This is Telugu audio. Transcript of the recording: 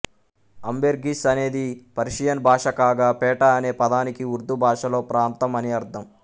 అంబెర్గీస్ అనేది పర్షియన్ భాష కాగా పేట అనే పదానికి ఉర్దూ భాషలో ప్రాంతం అని అర్థం